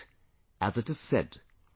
But as it is said,